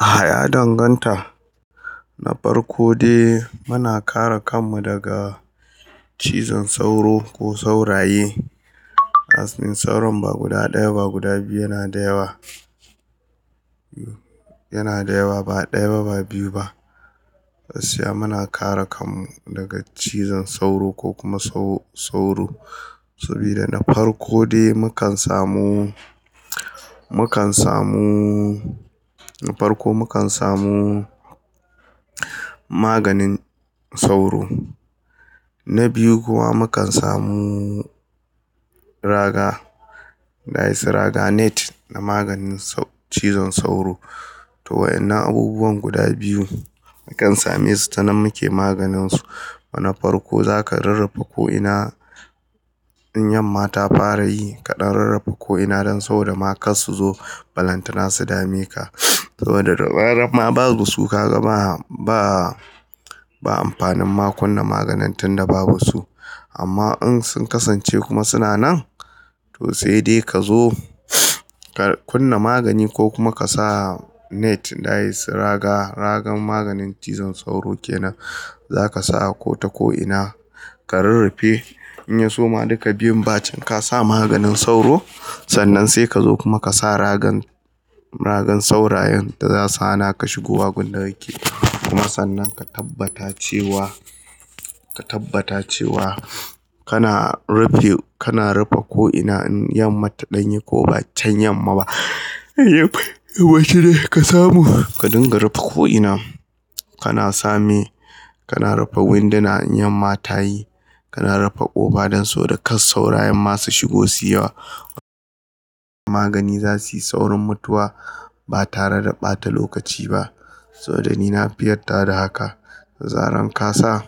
Ah ya danganta. Na farko dai muna kare kanmu daga cizon sauro ko sauraye. Asmin sauro ba guda ɗaya ba guda biyu yana da yawa. Yana da yawa ba ɗaya ba, ba biyu ba. Siyan muna kare kanmu daga cizon sauro ko kuma sauro. Saboda na farko dai mukan samu, mukan samu, na farko mukan samu maganin sauro. Na biyu kuma mukan samu raga net don maganin cizon sauro to waɗannan abubuwan guda biyu mukan same su ta nan muke maganinsu. Wana farko za ka rarrafa ko'ina in yamma ta fara yi kaɗan rarrafa ko'ina don sau da ma kar su zo balantana su dame ka. Saboda rarrafa babu su ka gama ba, ba amfanin ma kunna maganin tun da babu su. Amma in sun kasance kuma suna nan to sai dai ka zo ka kunna magani ko kuma ka sa net dai su raga, ragan maganin cizon sauro kenan. Za kasa ako ta ko ina karurrufe in yaso can ka sanya maganin sauro Sanann kuma sai kazo ka sanya ragan saurayen da zasu hana ka shigowa inda kake sannan kuma ka tabbata cewa kana rufe ko ina in yamma tayi wai shine ka samu ka dinga rarrafa ko'ina. Kana same, kana rarrafe winduna in yamma ta yi. Kana rarrafe ƙofa don sau da kar saurayin masu shigo siyowa. Magani za su yi saurin mutuwa ba tare da ɓata lokaci ba. Saboda ni na fi yarda da haka. Zaran ka sa